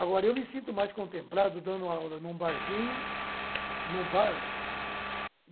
Agora, eu me sinto mais contemplado dando aula em um barzinho, em um bar.